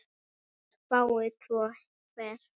sex fái tvo hver